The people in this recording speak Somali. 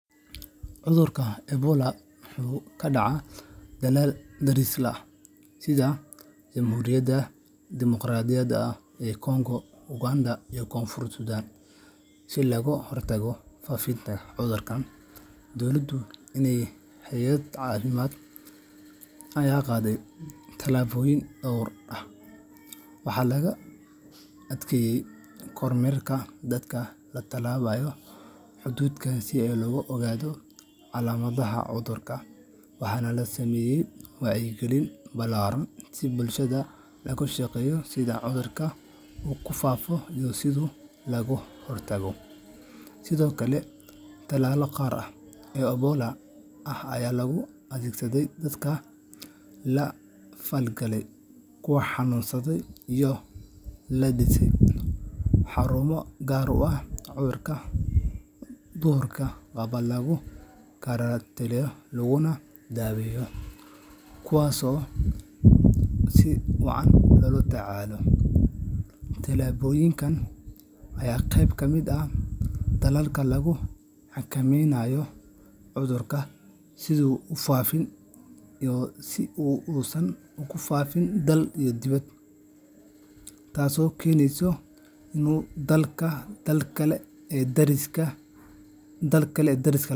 Cudurka Ebola wuxuu ka dhacay dalal daris la ah sida Jamhuriyadda Dimuqraadiga ah ee Kongo, Uganda, iyo Koonfurta Suudaan. Si looga hortago faafitaanka cudurka, dowladaha iyo hay’adaha caafimaadka ayaa qaaday tallaabooyin dhowr ah. Waxaa la adkeeyey kormeerka dadka ka tallaabaya xuduudaha si loo ogaado calaamadaha cudurka, waxaana la sameeyey wacyigelin ballaaran si bulshada loogu sheego sida cudurka uu ku faafo iyo sida looga hortago. Sidoo kale, tallaallo gaar ah oo Ebola ah ayaa loo adeegsaday dadkii la falgalay kuwa xanuunsaday, iyadoo la dhisay xarumo gaar ah oo dadka cudurka qaba lagu karaantiilo laguna daaweeyo. Tallaabooyinkan ayaa qayb ka ah dadaalka lagu xakameynayo cudurka si uusan ugu faaafin dalalka kale ee dariska ah.